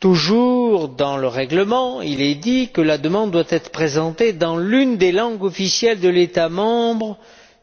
Toujours dans le règlement, il est dit que la demande doit être présentée dans l'une des langues officielles de l'État membre